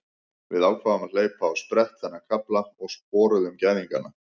Við ákváðum að hleypa á sprett þennan kafla og sporuðum gæðingana.